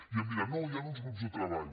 i em dirà no hi han uns grups de treball